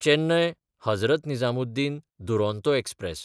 चेन्नय–हजरत Nizamuddin Duronto express